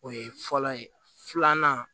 O ye fɔlɔ ye filanan